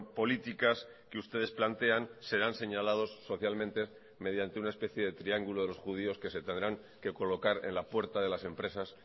políticas que ustedes plantean serán señalados socialmente mediante una especie de triángulo de los judíos que se tendrán que colocar en la puerta de las empresas